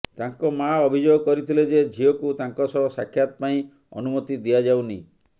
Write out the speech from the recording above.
ତାଙ୍କ ମାଆ ଅଭିଯୋଗ କରିଥିଲେ ଯେ ଝିଅକୁ ତାଙ୍କ ସହ ସାକ୍ଷାତ ପାଇଁ ଅନୁମତି ଦିଆଯାଉନି